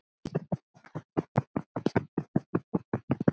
Það eykur áhrifin enn frekar.